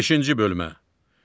Beşinci bölmə.